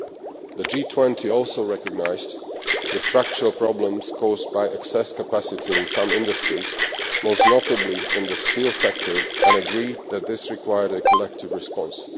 It also recognised the structural problems caused by excess capacity in some industries, most notably in the steel sector, and agreed that this required a collective response.